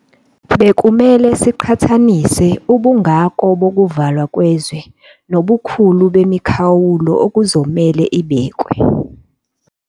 Bekumele siqhathanise ubungako bokuvalwa kwezwe nobukhulu bemikhawulo okuzomelwe ibekwe.